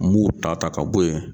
N m'o ta ta ka bɔ ye.